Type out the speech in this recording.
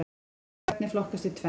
Kolvetni flokkast í tvennt.